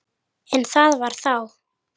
En það var þá.